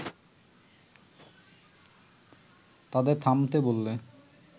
তাদের থামতে বললে